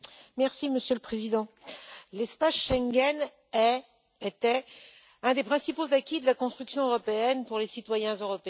Monsieur le Président, l'espace Schengen est, ou était, un des principaux acquis de la construction européenne pour les citoyens européens.